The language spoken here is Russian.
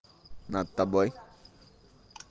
над тобой